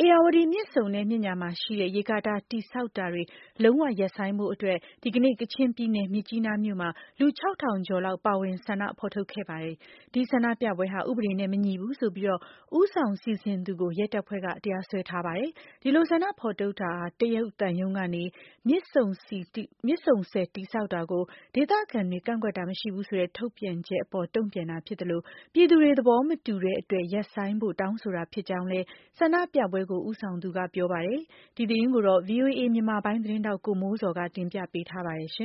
ဧရာဝတီမြစ်ဆုံနဲ့ မြစ်ညာရှိ ရေကာတာတည်ဆောက်တာတွေ လုံးဝရပ်ဆိုင်းဖို့အတွက် ဒီကနေ့ ကချင်ပြည်နယ် မြစ်ကြီးနားမြို့မှာ လူ ၆၀၀၀ ကျော်လောက် ပါဝင် ဆန္ဒထုတ်ဖော်ခဲ့ပါတယ်။ ဒီဆန္ဒပြပွဲဟာ ဥပဒေနဲ့မညီဘူးဆိုပြီး ဦးဆောင်စီစဉ်သူကို ရဲတပ်ဖွဲ့က တရားစွဲထားပါတယ်။ ဒီလို ဆန္ဒထုတ်ဖော်တာဟာ တရုတ်သံရုံးက မြစ်ဆုံဆည်တည်ဆောက်တာကို ဒေသခံတွေက ကန့်ကွက်တာမရှိဘူးဆိုတဲ့ ထုတ်ပြန်ချက်အပေါ် တုံပြန်တာဖြစ်သလို ပြည်သူ့တွေ သဘောမတူတဲ့အတွက် ရပ်ဆိုင်းဖို့ တောင်းဆိုတာဖြစ်ကြောင်းလည်း ဆန္ဒပြပွဲကို ဦးဆောင်သူက ပြောပါတယ်။ ဒီသတင်းကို ဗွီအိုအေမြန်မာပိုင်းရဲ့သတင်းထောက် ကိုမိုးဇော်က တင်ပြထားပါတယ်။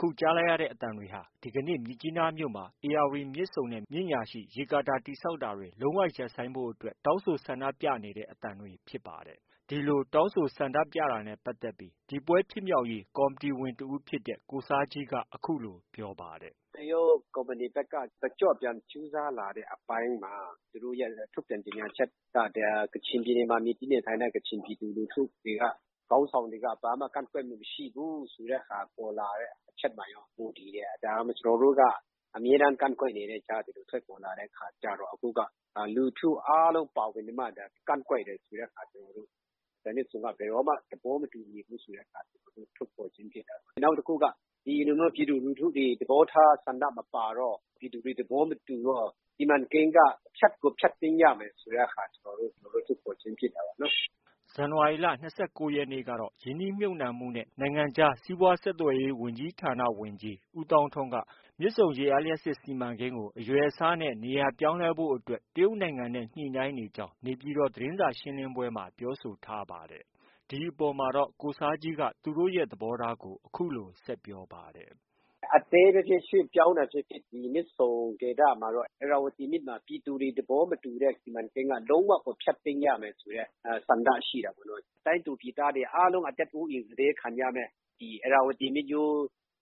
အခုကြားလိုက်ရတဲ့အသံတွေဟာ ဒီကနေ့ မြစ်ကြီးနားမြို့မှာ ဧရာဝတီမြစ်ဆုံနဲ့ မြစ်ညာရှိ ရေကာတာ တည်ဆောက်တာတွေ လုံးဝရပ်ဆိုင်းဖို့အတွက် တောင်းဆို ဆန္ဒပြနေတဲ့ အသံတွေဖြစ်ပါတယ်။ ဒီလိုတောင်းဆိုဆန္ဒပြတာနဲ့ပတ်သက်လို့ ဒီပွဲဖြစ်မြောက်ရေးကော်မတီဝင်တစ်ဦးဖြစ်တဲ့ ကိုဆာဂျီးက အခုလို ပြောပါတယ်။ “ တရုတ်ကုမ္ပဏီဘက်က တကျော့ပြန် ကြိုးစားလာတဲ့အပိုင်းမှာ သူတို့ရဲ့ ထုတ်ပြန်ကြေညာချက်မှာ ကချင်ပြည်နယ်မှာ မှီတင်းနေထိုင်တဲ့ ကချင်ပြည်သူလူထုတွေက ခေါင်းဆောင်တွေက ဘာမှ မကန့်ကွက်မှု မရှိဘူးဆိုတဲ့ဟာ ပေါ်လာတဲ့ အချက်မှာရော မူတည်တယ်။ ဒါ ကျနော်တို့က အမြဲတမ်း ကန့်ကွက်နေတဲ့ အကြားက ဒီလို ထွက်ပေါ်လာတဲ့အခါကျတော့ ကျနော်တို့က လူထုအားလုံးပါဝင်ပြီးမှ ကန့်ကွက်တယ်ဆိုတဲ့ဟာ ကျနော်တို့ မြစ်ဆုံကို ဘယ်တော့မှ သဘောမတူဘူးဆိုတဲ့ဟာကို ထုတ်ဖော်ခြင်းဖြစ်တယ်။ နောက်တစ်ခုက ဒီလိုမျိုးပြည်သူလူထုတွေ သဘောထားဆန္ဒမပါတော့ ပြည်သူတွေ သဘောမတူတော့ စီမံကိန်းက ဖျက်ကို ဖျက်သိမ်း ရမယ်ဆိုတဲ့ဟာ သဘောထားထုတ်ဖော်ခြင်းဖြစ်တာပေါ့။” ဇန်နဝါရီလ ၂၉ ရက်နေ့ကတော့ ရင်းနှီးမြှုပ်နှံမှုနဲ့ နိုင်ငံခြားစီးပွားဆက်သွယ်ရေး ဝန်ကြီးဌာန ဝန်ကြီး ဦးသောင်းထွန်း မြစ်ဆုံရေအားလျှပ်စစ်စီမံကိန်း အရွယ်အစားနဲ့ နေရာပြောင်းလဲဖို့အတွက် တရုတ်နိုင်ငံနဲ့ ညှိနှိုင်းနေကြောင်း နေပြည်တော် သတင်းစာရှင်းလင်းပွဲမှာ ပြောဆိုထားပါတယ်။ ဒီအပေါ်မှာတော့ ကိုဆားဂျီက သူတို့ သဘောထားကို အခုလို ဆက်ပြောပါတယ်။ “အသေးပဲဖြစ်ဖြစ် ရွှေ့ပြောင်းတာဖြစ်ဖြစ် ဒီမြစ်ဆုံဒေသမှာတော့ ဧရာဝတီမြစ်မှာ ပြည်သူတွေ သဘောမတူတဲ့ စီမံကိန်းက လုံးဝကို ဖျက်သိမ်းရမယ်ဆိုတဲ့ ဆန္ဒရှိတာပေါ့။ တိုင်းသူပြည်သားတွေ အားလုံး အသက်အိုးအိမ် စတေးခံရမယ့် ဧရာဝတီမြစ်ရိုး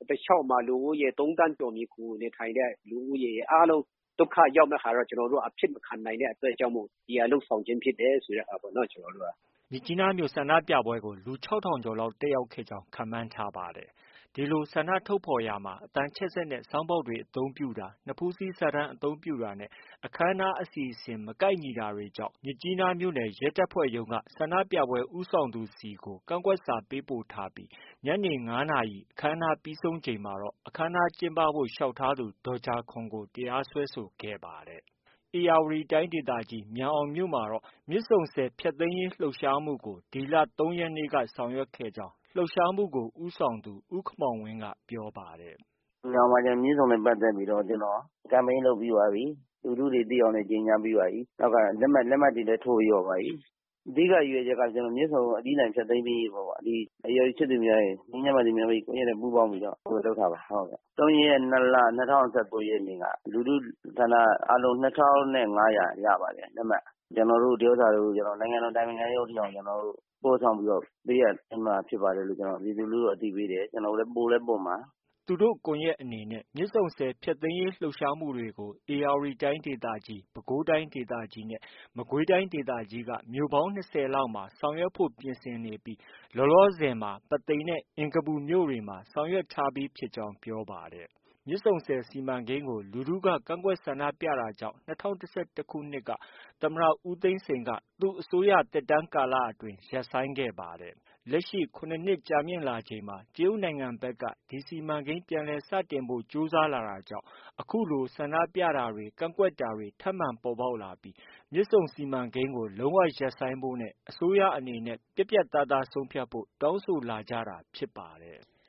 တစ်လျောက်မှာ လူဦးရေ ၃သန်းကျော် မှီခိုနေထိုင်တဲ့ လူဦးရေ အားလုံး ဒုက္ခ ရောက်မယ့်ဟာတော့ ကျနော်တို့က အဖြစ်မခံနိုင်တဲ့အတွက်ကြောင့်မို့ ဒီဟာ လုပ်ဆောင်ခြင်းဖြစ်တယ်ပေါ့။ ” မြစ်ကြီးနားမြို့ ဆန္ဒပြပွဲကို လူ ၆၀၀၀ ကျော်လောက် တက်ရောက်ခဲ့ကြောင်းခန့်မှန်းထားပါတယ်။ ဒီလို ဆန္ဒထုတ်ဖော်ရာမှာ အသံချဲ့စက်နဲ့ ဆောင်းဘောက်တွေ အသုံးပြုတာ၊ နဖူးစည်းစာတမ်းအသုံးပြုတာနဲ့ အခန်းအနားအစီအစဉ် မကိုက်ညီတာတွေကြောင့် မြစ်ကြီးနားမြို့နယ် ရဲတပ်ဖွဲ့မှုးရုံးက ဆန္ဒပြပွဲဦးဆောင်သူဆီကို ကန့်ကွက်စာ ပေးပို့ထားပြီး ညနေ ၅နာရီ အခမ်းအနားပြီးဆုံးချိန်မှာတော့ အခမ်းအနားကျင်းပဖို့ လျှောက်ထားသူ ဒေါ်ဂျာခေါန်ကို တရားစွဲဆိုခဲ့ပါတယ်။ ဧရာဝတီတိုင်းဒေသကြီးမြန်အောင်မြို့မှာတော့ မြစ်ဆုံဆည်ဖျက်သိမ်းရေးလှုပ်ရှားမှုကို ဒီလ ၃ ရက်နေ့က ဆောင်ရွက်ခဲ့ကြောင်း လှုပ်ရှားမှုကို ဦးဆောင်သူ ဦးခင်မောင်ဝင်းက ပြောပါတယ်။ “မြန်အောင်မှာ မြစ်ဆုံနဲ့ပတ်သက်ပြီးတော့ campaign လုပ်ပြီးသွားပြီ။ လူထုတွေသိအောင်လည်း ကြေညာပြီးပါပြီ။ လက်မှတ်တွေလည်း ထိုးပြီးသွားပါပြီ။ အဓိက ရည်ရွယ်ချက်က မြစ်ဆုံကို အပြီးအပိုင်ဖျက်သိမ်းရေးပေါ့။ ဒီ ဧရာဝတီချစ်သူများရယ်၊ ငြိမ်းချမ်းပါစေမြန်မာပြည်ကွန်ရက်နဲ့ ပူးပေါင်းပြီးတော့ လုပ်တာပါ။ ၃ရက် ၂လ ၂၀၁၉နေ့က လူထုဆန္ဒအားလုံး ၂ထောင် နဲ့ ၅ရာ ရပါတယ် လက်မှတ် ။ ကျနော်တို့ ဒီဥစ္စာတွေကို နိုင်ငံတော် အတိုင်ပင်ခံရုံးအထိအောင် ကျနော်တို့ ပို့ဆောင်ပေးအပ်သွားမှာဖြစ်ပါတယ်လို့ ပြည်သူလူထုကို အသိပေးတယ်။ ပို့လည်း ပို့မှာ။ ” သူတို့ ကွန်ရက်အနေနဲ့ မြစ်ဆုံဆည်ဖျက်သိမ်းရေးလှုပ်ရှားမှုတွေကို ဧရာဝတီတိုင်းဒေသကြီး၊ ပဲခူးတိုင်းဒေသကြီး နဲ့ မကွေးတိုင်းဒေသကြီးက မြို့ပေါင်း ၂၀လောက်မှာ ဆောင်ရွက်ဖို့ ပြင်ဆင်နေပြီး လောလောဆည်မှာ ပုသိမ်နဲ့ အင်္ဂပူမြို့တွေမှာ ဆောင်ရွက်ထားပြီးဖြစ်ကြောင်း ပြောပါတယ်။ မြစ်ဆုံဆည်စီမံကိန်းကို လူထုက ကန့်ကွက်ဆန္ဒပြတာကြောင့် ၂၀၁၁ခုနှစ်မှာ သမ္မတ ဦးသိန်းစိန်က သူ့အစိုးရသက်တမ်းကာလအတွင်း ရပ်ဆိုင်းခဲ့ပါတယ်။ လက်ရှိ ၇နှစ်ကြာမြင့်လာချိန်မှာ တရုတ်နိုင်ငံဘက်က ဒီစီမံကိန်း ပြန်လည်စတင်ဖို့ ကြိုးစားလာတာကြောင့် အခုလို ဆန္ဒပြတာတွေ ကန့်ကွက်တာတွေ ထပ်မံပေါ်ပေါက်လာပြီး မြစ်ဆုံစီမံကိန်းကို လုံးဝရပ်ဆိုင်းဖို့ နဲ့ အစိုးရအနေနဲ့ ပြတ်ပြတ်သားသားဆုံးဖြတ်ဖို့ တောင်းဆိုလာကြတာဖြစ်ပါတယ်။